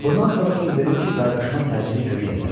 Bundan sonra söz verir ki, qardaşıma təcili kömək edər.